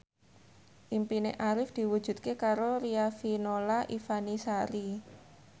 impine Arif diwujudke karo Riafinola Ifani Sari